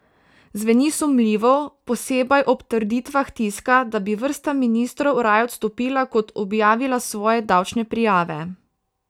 Zveni sumljivo, posebej ob trditvah tiska, da bi vrsta ministrov raje odstopila kot objavila svoje davčne prijave.